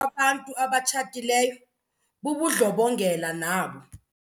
kwabantu abatshatileyo bubundlobongela nabo.